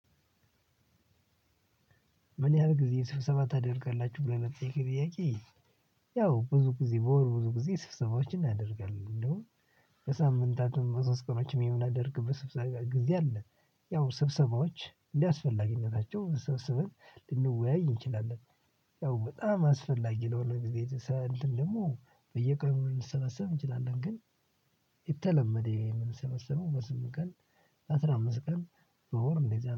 ምን ያህል ጊዜ ስብሰባ ታደርጋላችሁ ይለናል? ጥያቄ ጥያቄ ያው ብዙ ጊዜ በወር ብዙ ጊዜ ስብሰባዎችን እናደርጋለን እንደውም ከሳምንታቱም ከስብሰባዎችም የምናደርግበት ስብሰባ ጊዜ አለ። ያው ስብሰባዎች እንዳስፈላጊኝነታቸው ስብሰበን ልንወያይ እንችላለን። ያው በጣም አስፈላጊ ለሆነ ጊዜ ሰልድ ደግሞ በየቀኑ ልንሰበሰብ እንችላለን። ግን የተለመደ የምንሰበሰበው በስምንት ቀን አስራ አምስት ቀን በወር እንደዚህ